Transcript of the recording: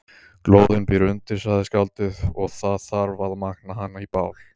Glóðin býr undir, sagði skáldið, og það þarf að magna hana í bál.